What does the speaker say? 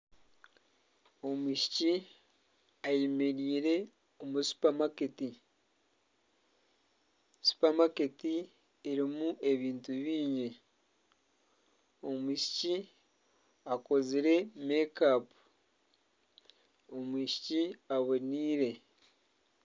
Omwishiki ayemereire omu supamaketi. Supamaketi erimu ebintu bingi. Omwishiki akozire make up. Omwishiki aboneire.